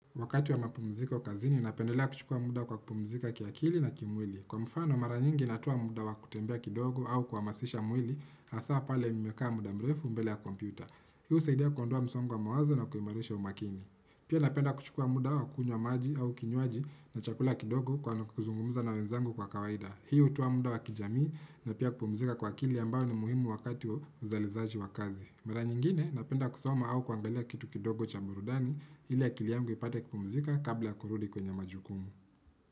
Wakati wa mapumziko kazini, napendelea kuchukua muda kwa kupumzika kiakili na kimwili. Kwa mfano, mara nyingi natoa muda wa kutembea kidogo au kuhamasisha mwili, hasa pale nimekaa muda mrefu mbele ya kompyuta. Hii husaidia kuondoa msongo wa mawazo na kuimarisha umakini. Pia napenda kuchukua muda wa kunywa maji au kinywaji na chakula kidogo kwa na kuzungumuza na wenzangu kwa kawaida. Hii hutoa muda wa kijamii na pia kupumzika kwa akili ambao ni muhimu wakati wa uzalishaji wa kazi. Mara nyingine napenda kusoma au kuangalia kitu kidogo cha burudani ili akili yangu ipate kupumzika kabla kurudi kwenye majukumu.